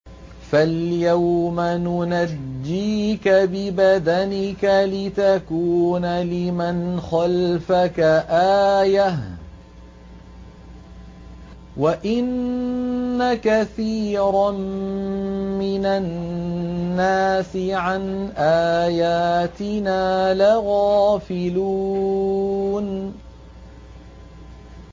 فَالْيَوْمَ نُنَجِّيكَ بِبَدَنِكَ لِتَكُونَ لِمَنْ خَلْفَكَ آيَةً ۚ وَإِنَّ كَثِيرًا مِّنَ النَّاسِ عَنْ آيَاتِنَا لَغَافِلُونَ